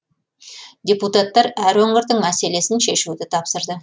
депутаттар әр өңірдің мәселесін шешуді тапсырды